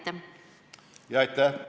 Aitäh!